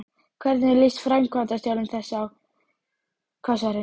Hvernig líst framkvæmdastjóra þess á Hvassahraun?